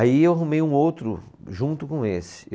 Aí eu arrumei um outro junto com esse.